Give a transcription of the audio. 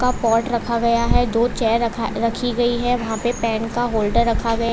Pot रखा गया है। दो चेयर रखी गई है वहां पे पेन का होल्डर रखा गया।